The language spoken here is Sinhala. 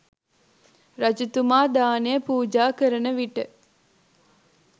රජතුමා දානය පූජා කරන විට